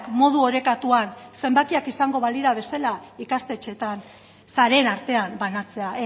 modu orekatuan zenbakiak izango balira bezala ikastetxeetan sareen artean banatzea